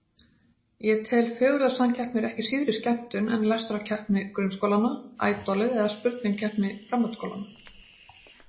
Ég tel fegurðarsamkeppnir ekki síðri skemmtun en lestrarkeppni grunnskólanna, Ædolið eða spurningakeppni framhaldsskólanna.